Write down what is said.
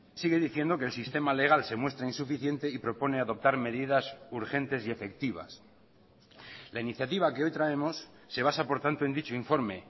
sigue diciendo que el sistema legal se muestra insuficiente y propone adoptar medidas urgentes y efectivas la iniciativa que hoy traemos se basa por tanto en dicho informe